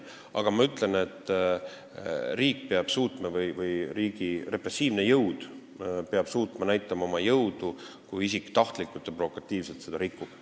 Aga riik või riigi repressiivne jõud peab suutma näidata oma jõudu, kui isik tahtlikult ja provokatiivselt seda keeldu rikub.